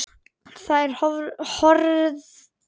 Þær horfðu þangað allar.